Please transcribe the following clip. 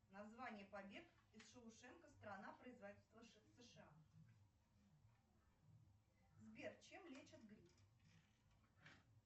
название побег из шоушенка страна производитель сша сбер чем лечат грипп